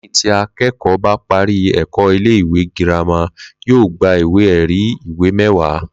Lé̩yìn tí aké̩kò̩ó̩ bá parí è̩kó̩ ilé ìwé girama, yóò gba ìwé è̩rí ìwé mé̩wàá